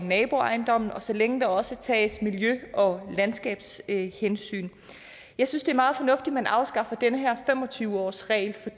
naboejendommen og så længe der også tages miljø og landskabshensyn jeg synes det er meget fornuftigt at man afskaffer den her fem og tyve årsregel for